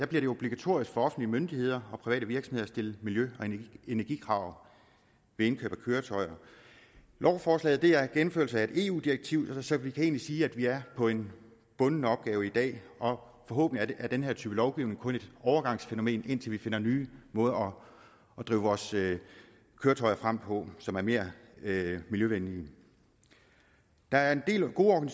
det obligatorisk for offentlige myndigheder og private virksomheder at stille miljø og energikrav ved indkøb af køretøjer lovforslaget er en gennemførelse af et eu direktiv så vi kan egentlig sige at vi er på en bunden opgave i dag og forhåbentlig er den her type lovgivning kun et overgangsfænomen indtil vi finder nye måder at drive vores køretøjer frem på som er mere miljøvenlige der er en del gode